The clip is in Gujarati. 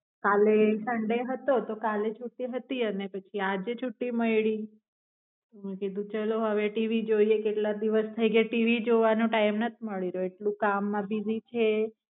કાલે સંડે હતો તૌ કાલી છૂટી હતી આને પછી આજે છૂટ્ટી મૈલી, તો મેં કીધું ચલો હવે ટીવી જોય લેયી કેટલા દિવસ થાય ગયા ટીવી જોવા નો TIme નાથી માલી રહ્યો અટલુ કામમાં બિજી છે.